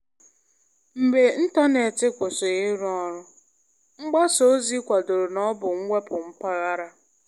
Mgbe ịntanetị kwụsịrị ịrụ ọrụ, mgbasa ozi kwadoro na ọ bụ mwepu mpaghara.